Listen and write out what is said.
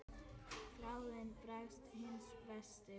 Þráinn bregst hinn versti við.